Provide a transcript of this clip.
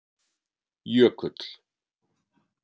Jökull